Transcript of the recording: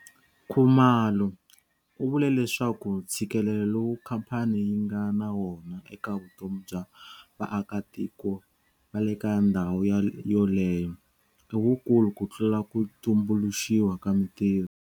Khumalo u vule leswaku ntshikelelo lowu khamphani yi nga na wona eka vutomi bya vaakitiko va le ka ndhawu yoleyo i wukulu ku tlula ku tumbuluxiwa ka mitirho.